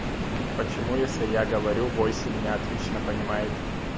почему если я говорю восемь меня отлично понимают